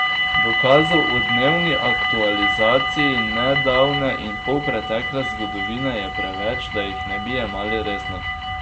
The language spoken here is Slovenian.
Dokazov o dnevni aktualizaciji nedavne in polpretekle zgodovine je preveč, da jih ne bi jemali resno.